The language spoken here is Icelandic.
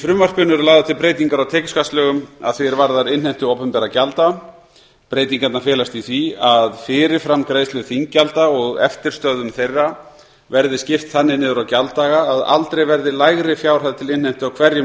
lagðar til breytingar á tekjuskattslögum að því er varðar innheimtu opinberra gjalda breytingarnar felast í því að fyrirframgreiðslu þinggjalda og eftirstöðvum þeirra verði skipt þannig niður á gjalddaga að aldrei verði lægri fjárhæð til innheimtu á hverjum